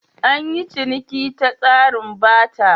An yi ciniki ta tsarin Barter.